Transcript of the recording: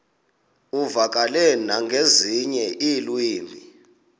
uvakale nangezinye iilwimi